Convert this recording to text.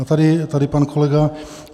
A tady pan kolega.